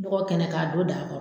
bɔgɔ kɛnɛ k'a don daa kɔ